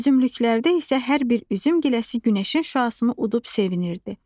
Üzümlüklərdə isə hər bir üzüm giləsi günəşin şüasını udub sevinirdi.